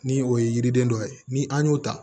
Ni o ye yiriden dɔ ye ni an y'o ta